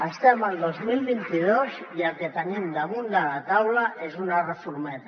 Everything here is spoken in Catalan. estem al dos mil vint dos i el que tenim damunt de la taula és una reformeta